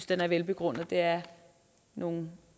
den er velbegrundet det er nogle